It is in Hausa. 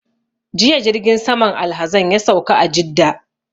Jiya jirgin saman alhazan ya sauka a Jidda